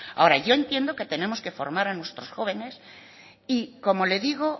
ahora yo entiendo que tenemos que formar a nuestros jóvenes y como le digo